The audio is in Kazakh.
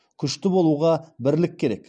күшті болуға бірлік керек